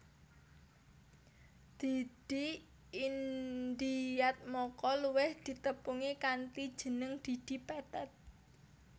Didi Indiatmoko luwih ditepungi kanthi jeneng Didi Petet